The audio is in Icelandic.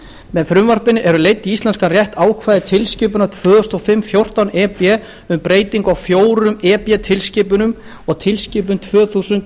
með frumvarpinu eru leidd í íslenskan rétt ákvæði tilskipunar tvö þúsund og fimm fjórtán e b um breytingu á fjórum e b tilskipunum og tilskipun tvö þúsund